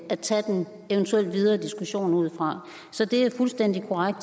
at tage den eventuelle videre diskussion ud fra så det er fuldstændig korrekt